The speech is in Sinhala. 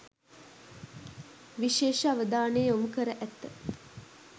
විශේෂ අවධානය යොමු කර ඇත.